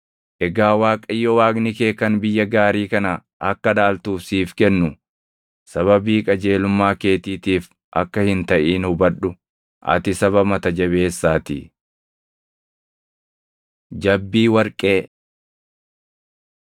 Egaa Waaqayyo Waaqni kee kan biyya gaarii kana akka dhaaltuuf siif kennu sababii qajeelummaa keetiitiif akka hin taʼin hubadhu; ati saba mata jabeessaatii. Jabbii Warqee